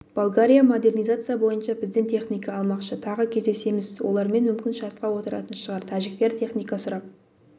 болгария модернизация бойынша бізден техника алмақшы тағы кездесеміз олармен мүмкін шартқа отыратын шығар тәжіктер техника сұрап